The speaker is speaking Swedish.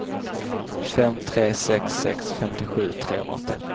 fem tre sex sex femtiosju trehundraåttioett